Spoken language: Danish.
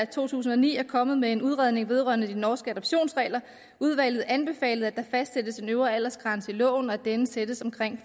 to tusind og ni er kommet med en udredning vedrørende de norske adoptionsregler udvalget anbefalede at der fastsættes en øvre aldersgrænse i loven og at denne sættes omkring